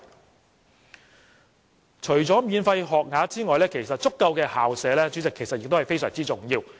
主席，除了免費學額之外，足夠的校舍其實亦非常重要。